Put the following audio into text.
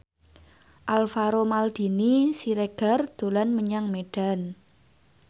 Alvaro Maldini Siregar dolan menyang Medan